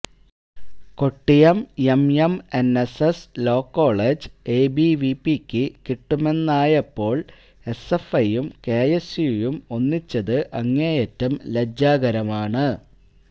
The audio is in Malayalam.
കൊട്ടിയം എംഎംഎന്എസ്എസ് ലോകോളജ് എബിവിപിക്ക് കിട്ടുമെന്നായപ്പോള് എസ്എഫ്ഐയും കെഎസ് യുവും ഒന്നിച്ചത് അങ്ങേയറ്റം ലജ്ജാകരമാണ്